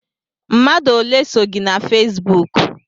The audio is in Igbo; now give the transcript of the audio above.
Mmadụ ole so gị na Fesbụụk?